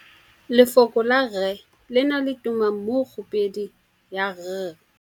Lefoko la rre, le na le tumammogôpedi ya, r.